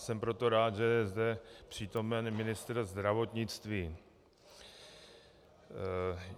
Jsem proto rád, že je zde přítomen ministr zdravotnictví.